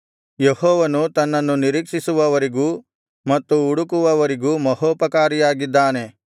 ಯೆಹೋವನು ತನ್ನನ್ನು ನಿರೀಕ್ಷಿಸುವವರಿಗೂ ಮತ್ತು ಹುಡುಕುವವರಿಗೂ ಮಹೋಪಕಾರಿಯಾಗಿದ್ದಾನೆ